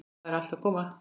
Það er allt að koma.